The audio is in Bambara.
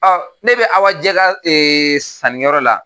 Ɔn, ne be Awajɛ ka ee sannikɛ yɔrɔ la.